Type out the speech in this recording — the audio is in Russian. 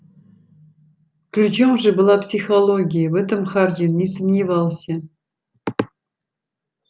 ключом же была психология в этом хардин не сомневался